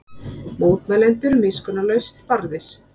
Mótmælendur miskunnarlaust barðir